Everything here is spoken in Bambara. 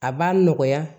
A b'a nɔgɔya